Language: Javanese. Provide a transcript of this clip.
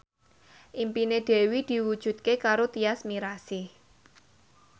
impine Dewi diwujudke karo Tyas Mirasih